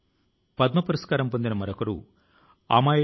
ఈ మాటల కు గర్వం తో ఆకాశాన్ని తాకడం అని భావం